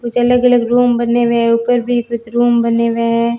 कुछ अलग अलग रुम में बने हुए ऊपर भी कुछ रूम बने हुए हैं।